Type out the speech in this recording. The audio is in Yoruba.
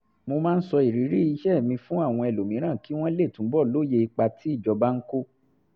mo máa ń sọ ìrírí iṣẹ́ mi fún àwọn ẹlòmíràn kí wọ́n lè túbọ̀ lóye ipa tí ìjọba ń kó